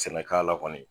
Sɛnɛkɛla kɔni